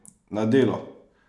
Na delo!